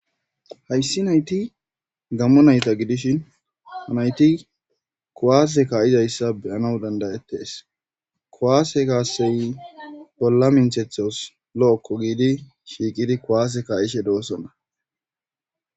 Hayssi nayti gammo nayta gidishin ha nayti kowaase ka'izayssa beyana dandayettes kowaase kaasey bolla minthethos lo'okko giidi shiiqidi kowaase ka'ishe doosonna